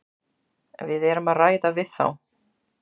Við erum að ræða við þá.